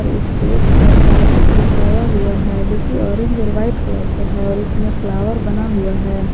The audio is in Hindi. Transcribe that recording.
और स्टेज पर कारपेट बिछाया हुआ है जो की ऑरेंज और वाइट कलर का है और उसमें फ्लावर बना हुआ है।